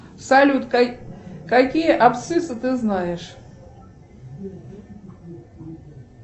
салют какие абсциссы ты знаешь